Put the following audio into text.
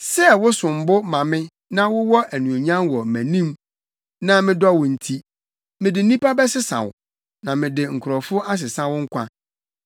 Sɛ wosom bo ma me na wowɔ anuonyam wɔ mʼanim na medɔ wo nti, mede nnipa bɛsesa wo, na mede nkurɔfo asesa wo nkwa.